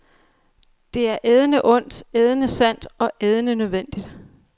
Det er ædende ondt, ædende sandt og ædende nødvendigt.